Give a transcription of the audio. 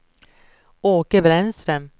Åke Brännström